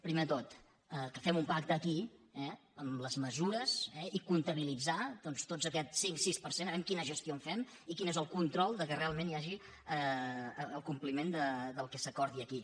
primer de tot que fem un pacte aquí amb les mesures i comptabilitzar tot aquest cinc sis per cent a veure quina gestió en fem i quin és el control que realment hi hagi el compliment del que s’acordi aquí